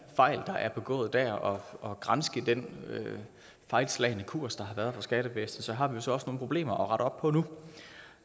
fejl der er begået der og og granske den fejlslagne kurs der har været for skattevæsenet har vi jo så også nogle problemer